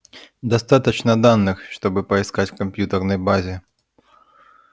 достаточно данных чтобы поискать в компьютерной базе